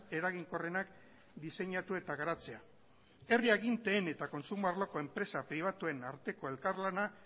eraginkorrenak diseinatu eta garatzea herri aginteen eta kontsumo arloko enpresa pribatuen arteko elkarlana